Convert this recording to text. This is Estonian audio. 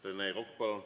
Rene Kokk, palun!